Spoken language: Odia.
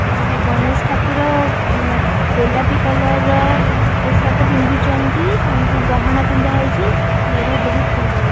ଆଉ ଗଣେଶ ଠାକୁର ଉମ ଗୋଲାପି କଲର ର ପୋଷାକ ପିନ୍ଧିଛନ୍ତି ତାଙ୍କୁ ଗହଣା ପିନ୍ଧା ହେଇଛି ମେଢ଼ ବହୁତ୍ ସୁନ୍ଦର ଦେ --